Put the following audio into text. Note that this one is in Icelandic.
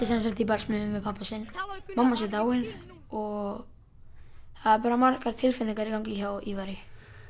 sem sagt í barsmíðum við pabba sinn mamma hans er dáin og það eru bara margar tilfinningar í gangi hjá Ívari